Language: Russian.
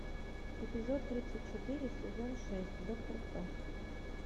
эпизод тридцать четыре сезон шесть доктор кто